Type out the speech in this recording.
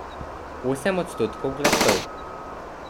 Osem odstotkov glasov.